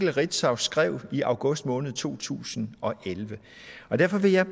ritzau skrev i august måned to tusind og elleve derfor vil jeg